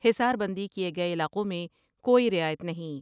حصار بندی کئے گئے علاقوں میں کوئی رعایت نہیں ۔